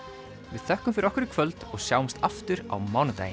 við þökkum fyrir okkur í kvöld og sjáumst aftur á mánudaginn